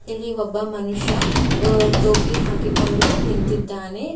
ಒಬ್ಬ ಮನುಷ್ಯ ಟೋಪಿ ಹಾಕಿಕೊಂಡು ನಿಂತಿದ್ದಾನೆ.